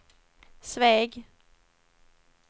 Sveg